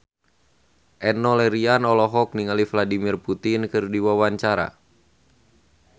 Enno Lerian olohok ningali Vladimir Putin keur diwawancara